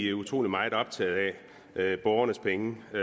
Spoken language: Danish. er utrolig meget optaget af borgernes penge så